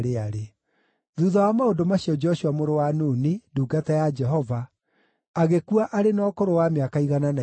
Thuutha wa maũndũ macio Joshua mũrũ wa Nuni, ndungata ya Jehova, agĩkua arĩ na ũkũrũ wa mĩaka igana na ikũmi.